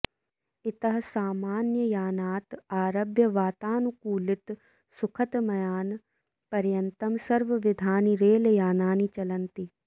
इतः सामन्ययानात् आरभ्य वातानुकूलितसुखतमयान पर्यन्तं सर्वविधानि रेल् यानानि चलन्ति